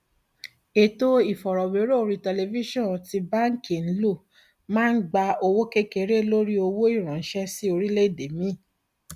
ètò ìfọrọwérọ orí tẹlifíṣọn tí báńkì ń lò máa ń gba owó kékeré lórí owó ìránṣẹ sí orílẹèdè míì